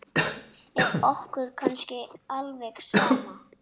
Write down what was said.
Er okkur kannski alveg sama?